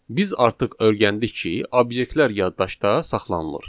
Biz artıq öyrəndik ki, obyektlər yaddaşda saxlanılır.